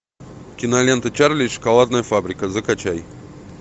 кинолента чарли и шоколадная фабрика закачай